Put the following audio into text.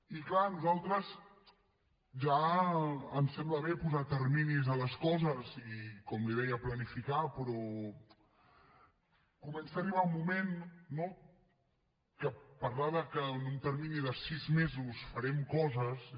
i clar a nosaltres ja ens sembla bé posar terminis a les coses i com li deia planificar però comença a arribar un moment no que parlar de que en un termini de sis mesos farem coses és